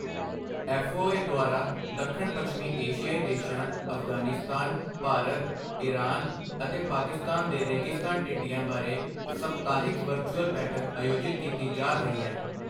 FAO ਦੁਆਰਾ ਦੱਖਣ ਪੱਛਮੀ ਏਸ਼ਿਆਈ ਦੇਸ਼ਾਂ ਅਫ਼ਗ਼ਾਨਿਸਤਾਨ, ਭਾਰਤ, ਇਰਾਨ ਅਤੇ ਪਾਕਿਸਤਾਨ ਦੇ ਰੇਗਿਸਤਾਨ ਟਿੱਡੀਆਂ ਬਾਰੇ ਸਪਤਾਹਿਕ ਵਰਚੁਅਲ ਬੈਠਕ ਆਯੋਜਿਤ ਕੀਤੀ ਜਾ ਰਹੀ ਹੈ।